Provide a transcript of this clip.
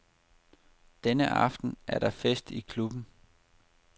Denne aften er der fest i klubben.